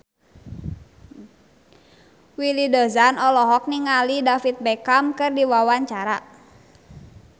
Willy Dozan olohok ningali David Beckham keur diwawancara